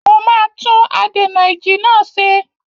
Mo máa tún adènà-ìjì náà ṣe.